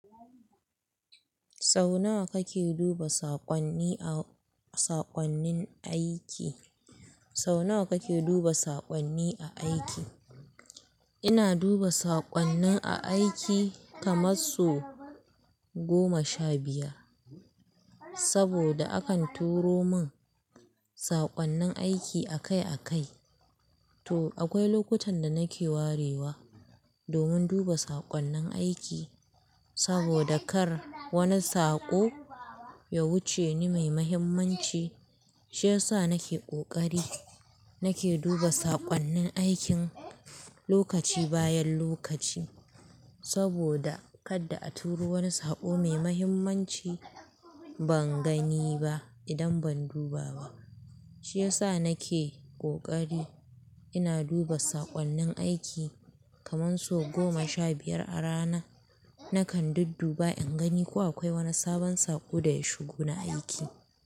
Sau nawa kake duba saƙonni a saƙonnin aiki? Sau nawa kake duba saƙonni a aiki? Ina duba saƙonnin a aiki kaman so goma sha biyar. Saboda akan turo min saƙonnin aiki akai akai. To akwai lokutan da nake warewa, domin duba saƙonnin aiki saboda kar wani saƙo ya wuce ni mai mahimmanci. Shi yasa nake ƙoƙari nake duba saƙonnin aikin lokaci bayan lokaci saboda kadda a turo wani saƙo mai mahimmanci ban gani ba idan ban duba ba. Shi yasa nake ƙoƙari ina duba saƙonnin aiki kaman so goma sha biyar a rana. Nakan duk duba in gani ko akwai wani sabon saƙo da ya shigo na aiki.